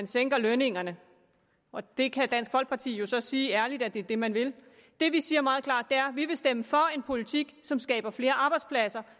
sænke lønningerne det kan dansk folkeparti så sige ærligt er det det man vil det vi siger meget klart er at vi vil stemme for en politik som skaber flere arbejdspladser og